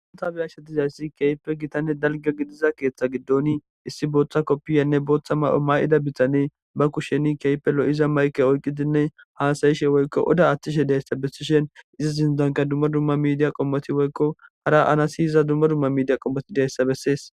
Ta beyashe dizaydi kehipe gitane dalga gisiza keetha gidon issi Botha kopiyanne Botha mayo mayida Adey ba kushen kehipe lo'iza mayke oykidi hasayishenne oda athishe dizaysa besishin Iza sinthanka duma duma midiya qomoti woyko qala siyiza duma duma qomoti dizaysa besses